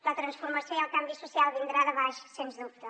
la transformació i el canvi social vindran de baix sens dubte